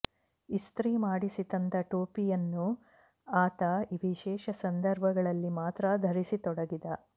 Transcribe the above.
ಇಸ್ತ್ರಿ ಮಾಡಿಸಿ ತಂದ ಟೊಪಿಅಯನ್ನು ಆತ ವಿಶೇಷ ಸಂದರ್ಭಗಳಲ್ಲಿ ಮಾತ್ರ ಧರಿಸತೊಡಗಿದ